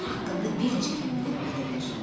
Onun haqqında bir neçə kəlmə deməyə dəyər.